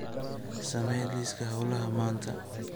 samee liiska hawlaha maanta